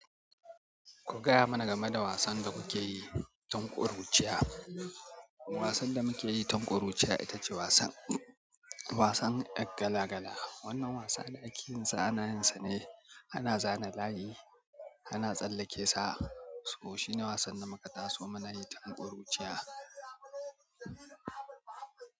Ku gaya mana game da wasan da kuke yi, tun ƙuruciya? Wasan da muke yi tun ƙuruciya, ita ce wasan, wasan 'yar gala-gala. Wannan wasa ne da ake yin sa a nayinsa ne ana zana layi ana tsalle ke sa. To, shi ne wasan da muka taso mu nayi tun ƙuruciya.